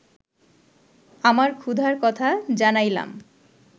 আমার ক্ষুধার কথা জানাইলাম